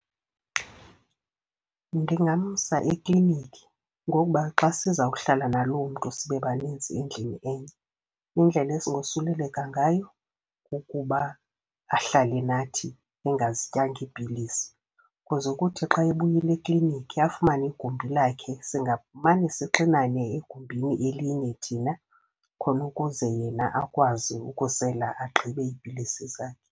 Ndingamsa eklinikhi ngokuba xa siza kuhlala naloo mntu sibe banintsi endlini enye, indlela esingosuleleka ngayo kukuba ahlale nathi engazityanga iipilisi. Kuze ukuthi xa ebuyile eklinikhi afumane igumbi lakhe, singamane sixinane egumbini elinye thina khona ukuze yena akwazi ukusela agqibe iipilisi zakhe.